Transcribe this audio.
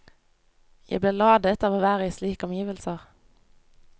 Jeg blir ladet av å være i slike omgivelser.